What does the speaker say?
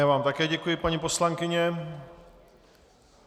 Já vám také děkuji, paní poslankyně.